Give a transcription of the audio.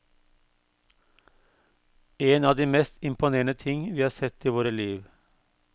En av de mest imponerende ting vi har sett i våre liv.